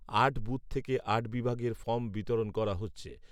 আট বুথ থেকে আট বিভাগের ফর্ম বিরতণ করা হচ্ছে